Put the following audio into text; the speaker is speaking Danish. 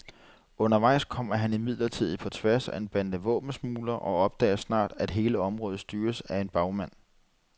Undervejs kommer han imidlertid på tværs af en bande våbensmuglere, og opdager snart at hele området styres af en bagmand.